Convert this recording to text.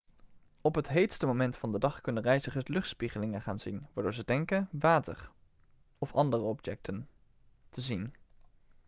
op het heetste moment van de dag kunnen reizigers luchtspiegelingen gaan zien waardoor ze denken water of andere objecten te zien